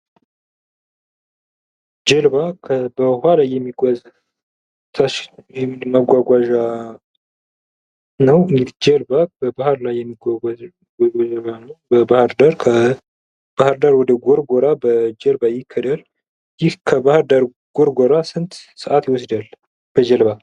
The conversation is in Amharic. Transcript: ጀልባ በውሃ ላይ የሚጓዝ ማጓጓዣ ነው እንግዲህ ጀልባ በባህር ላይ የሚጓጓዝ ጀልባው ነው ::በባህር ዳር ከባህር ዳር ወደ ጎርጎራ በ በጀርባ ይከዳል ይህ ከባህርዳር ጎርጎራ ስንት ሰዓት ይወስዳል በጀልባ ?